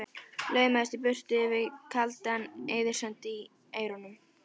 Laumaðist í burtu með Yfir kaldan eyðisand í eyrunum.